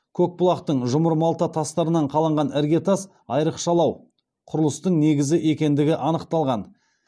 көкбұлақтың жұмыр малта тастарынан қаланған іргетас айрықшалау құрылыстың негізі екендігі анықталған